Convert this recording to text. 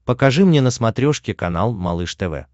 покажи мне на смотрешке канал малыш тв